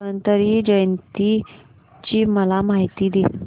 धन्वंतरी जयंती ची मला माहिती दे